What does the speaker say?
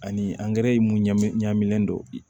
Ani ye mun ɲɛminen don bi